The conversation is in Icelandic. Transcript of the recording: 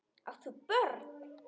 Átt þú börn?